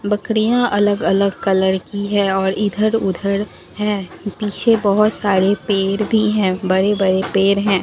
बकरियाँ अलग-अलग कलर की है और इधर-उधर है पीछे बहुत सारे पेड़ भी है बड़े-बड़े पेड़ है।